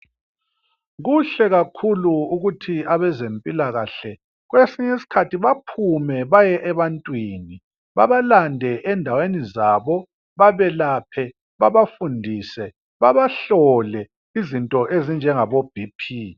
Kuhle kakhulu ukuthi abezempilakahle kwesinye isikhathi baphume baye ebantwini babalande endaweni zabo. Babelaphe, babafundise , babahlole izinto ezinjengabo BP.